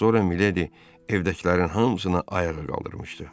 Az sonra Miledi evdəkilərin hamısını ayağa qaldırmışdı.